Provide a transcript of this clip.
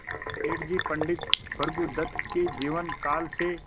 सेठ जी पंडित भृगुदत्त के जीवन काल से